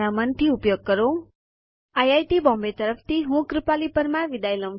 iit Bombay તરફથી spoken tutorial project માટે ભાષાંતર કરનાર હું કૃપાલી પરમાર વિદાય લઉં છું